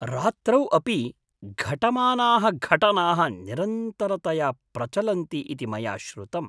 रात्रौ अपि घटमानाः घटनाः निरन्तरतया प्रचलन्ति इति मया श्रुतम्।